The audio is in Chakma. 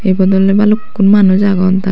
ebot oley balukkun manus agon tara.